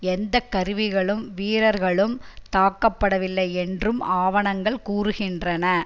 எந்த கருவிளும் வீரர்களும் தாக்கப்படவில்லை என்றும் ஆவணங்கள் கூறுகின்றன